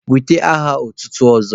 Wete aha otutu ọzọ!